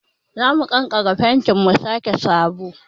Za mu kankare fentin mu sake sabo.